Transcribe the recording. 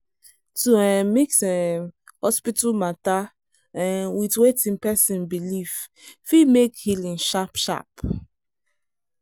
to um mix um hospital matter um with wetin person believe fit make healing sharp sharp